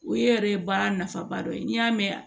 O ye yɛrɛ baara nafaba dɔ ye n'i y'a mɛn